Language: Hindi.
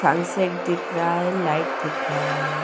सनसेट दिख रहा है लाइट दिख रहा है.